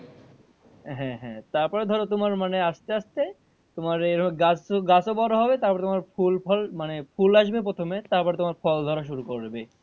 হ্যাঁ হ্যাঁ তারপর ধরো তোমার মানে আসতে আসতে তোমার এই গাছ গাছও বড় হবে তারপর ফুল, ফুল ফল, মানে ফুল আসবে প্রথমে তারপর তোমার ফল ধরা শুরু করবে।